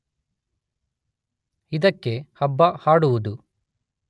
ಇದಕ್ಕೆ ಹಬ್ಬ ಹಾಡುವುದು